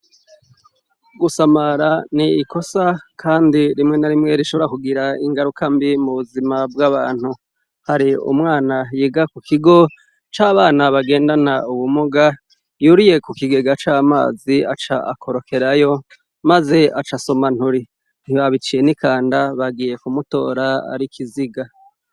Gusamara ni ikosa kandi rimwe na rimwe rishobora kugira ingarukambi mu buzima bw'abantu, hari umwana yiga ku kigo c'abana bagendana ubumuga yuriye ku kigega c'amazi aca akorokerayo maze acasoma nturi ntibabiciye nikanda bagiye kumutora ari ikiziga.